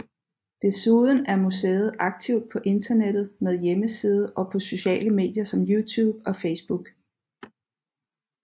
Desuden er museet aktiv på internettet med hjemmeside og på sociale medier som YouTube og Facebook